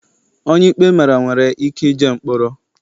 Onye ikpe mara nwere ike jee mkpọrọ.